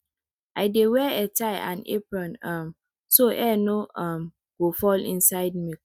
i dey wear headtie and apron um so hair no um go fall inside milk